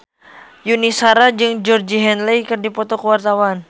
Yuni Shara jeung Georgie Henley keur dipoto ku wartawan